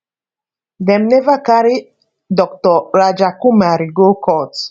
dem never carry dr rajakumari go court